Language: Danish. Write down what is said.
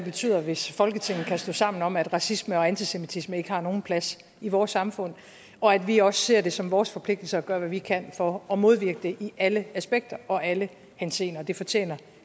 betyder hvis folketinget kan stå sammen om at racisme og antisemitisme ikke har nogen plads i vores samfund og at vi også ser det som vores forpligtelse at gøre hvad vi kan for at modvirke det i alle aspekter og alle henseender det fortjener